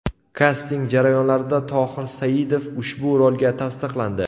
Kasting jarayonlarida Tohir Saidov ushbu rolga tasdiqlandi.